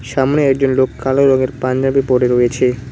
সামনে একজন লোক কালো রঙের পাঞ্জাবি পড়ে রয়েছে।